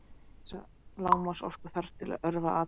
Það merkir að vissa lágmarksorku þarf til að örva atómin.